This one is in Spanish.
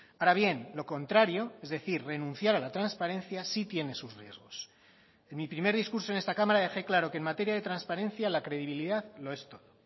ahora bien lo contrario es decir renunciar a la transparencia sí tiene sus riesgos en mi primer discurso en esta cámara dejé claro que en materia de transparencia la credibilidad lo es todo